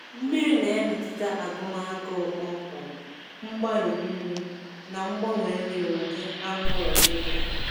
Mmiri na-emetụta agụm agụụ kpọmkwem, mgbari nri, na ngbanwe nri n'ụdị anụ ụlọ niile.